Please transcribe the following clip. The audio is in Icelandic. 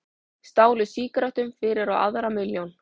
Stálu sígarettum fyrir á aðra milljón